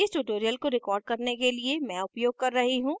इस tutorial को record करने के लिए मैं उपयोग कर रही हूँ